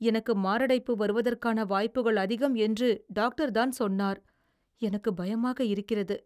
எனக்கு மாரடைப்பு வருவதற்கான வாய்ப்புகள் அதிகம் என்று டாக்டர் தான் சொன்னார். எனக்கு பயமாக இருக்கிறது.